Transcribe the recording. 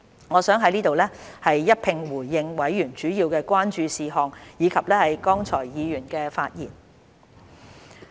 我想在此一併回應委員主要關注的事項，以及剛才議員的發言。